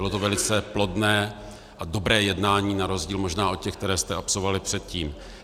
Bylo to velice plodné a dobré jednání na rozdíl možná od těch, které jste absolvovali předtím.